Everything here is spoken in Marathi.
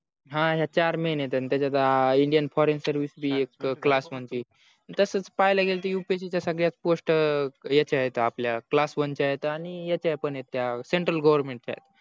हा हे चार main आहेत त्याचत indian foreign service ही एक class one ची तसे पहिल्या गेल तर upsc सगळ्या post याचे आहेत आपल्या class one च्या आहेत आणि याच्या पण आहेत त्या central government च्या